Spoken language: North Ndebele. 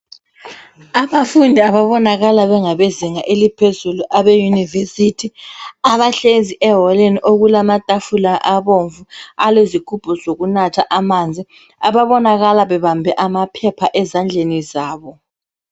Abafundi ababonakala bengabezinga eliphezulu abe yunivesithi abahlezi eholeni okulamatafula abomvu alezigumbu zokunatha amanzi ababonakala bebambe amaphepha ezandleni zabo.